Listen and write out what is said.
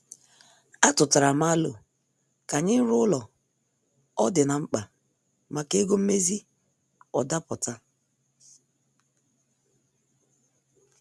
Atutaram alo ka anyị ruo ụlọ ọ dị na- mkpa maka ego mmezi ọ daputa.